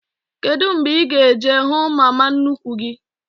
Kedụ mgbe ị ga- eje hụ mama nnukwu gị?